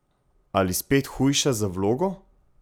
Ali spet hujša za vlogo?